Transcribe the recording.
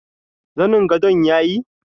Zanin gadon yayi?